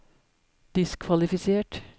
diskvalifisert